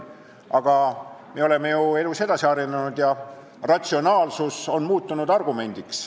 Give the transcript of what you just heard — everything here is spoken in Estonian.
Aga me oleme ju elus edasi arenenud ja ratsionaalsus on muutunud argumendiks.